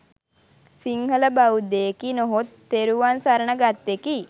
සිංහල බෞද්ධයෙකි නොහොත් තෙරුවන් සරණ ගත්තෙකි.